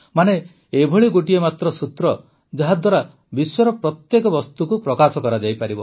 ମାନେ ଏଭଳି ଗୋଟିଏ ମାତ୍ର ସୂତ୍ର ଯାହାଦ୍ୱାରା ବିଶ୍ୱର ପ୍ରତ୍ୟେକ ବସ୍ତୁକୁ ପ୍ରକାଶ କରାଯାଇପାରିବ